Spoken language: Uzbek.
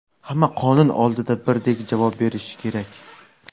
Hamma qonun oldida birdek javob berishi kerak.